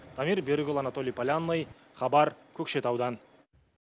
дамир берікұлы анатолий полянный хабар көкшетаудан